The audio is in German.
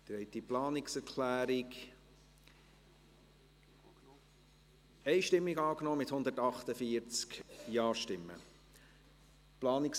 Sie haben die Planungserklärung 1 einstimmig angenommen, mit 148 Ja- gegen 0 NeinStimmen bei 0 Enthaltungen.